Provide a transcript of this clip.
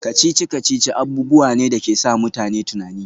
Kacici-kacici abubuwa ne da ke sa mutane tunani